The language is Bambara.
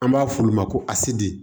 An b'a f'olu ma ko ased